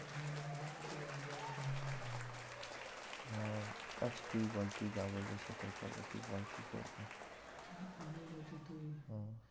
আহ আচ্ছা তুই বল তুই যা বলবি সেটাই করবো। তুই বল কি করবো? আমি বলছি তুই হম